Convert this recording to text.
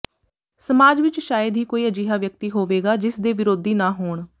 ਸਮਾਜ ਵਿਚ ਸ਼ਾਇਦ ਹੀ ਕੋਈ ਅਜਿਹਾ ਵਿਅਕਤੀ ਹੋਵੇਗਾ ਜਿਸ ਦੇ ਵਿਰੋਧੀ ਨਾ ਹੋਣ